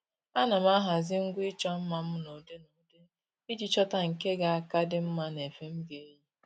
À nà m ahazị ngwa ịchọ mma m n’ụ́dị́ n'ụdị iji chọ́ta nke ga aka dị mma n'efe m ga-eyi